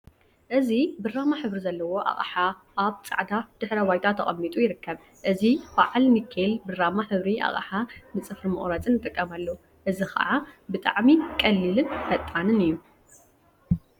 እዚ ብራማ ሕብሪ ዘለዎ ኣቅሓ ኣብ ጻዕዳ ድሕረ ባይታ ተቀሚጡ ይርከብ። እዚ ብዓል ንካል ብራማ ሕብሪ ኣቅሓ ንጽፍሪ መቁረጺ ንጥቀመሉ። እዚ ከዓ ብጣዕሚ ቀሊልን ፈጣንን እዩ።